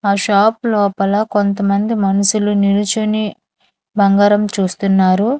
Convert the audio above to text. ఆ షాప్ లోపల కొంతమంది మనిసులు నిలుచొని బంగారం చూస్తున్నారు.